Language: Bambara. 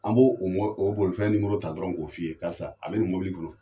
An b'o bolifɛn ta dɔrɔn k'o f'i ye, karisa a be ni mɔbili kɔnɔ.